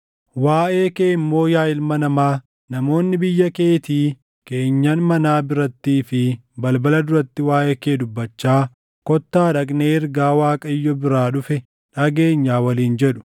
“Waaʼee kee immoo yaa ilma namaa, namoonni biyya keetii keenyan manaa birattii fi balbala duratti waaʼee kee dubbachaa, ‘Kottaa dhaqnee ergaa Waaqayyo biraa dhufe dhageenyaa’ waliin jedhu.